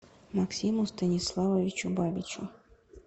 максиму станиславовичу бабичу